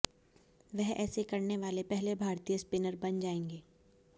वह ऐसा करने वाले पहले भारतीय स्पिनर बन जायेंगे